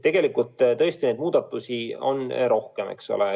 Tegelikult on neid muudatusi palju.